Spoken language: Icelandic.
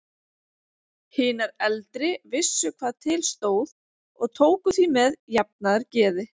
Hinar eldri vissu hvað til stóð og tóku því með jafnaðargeði.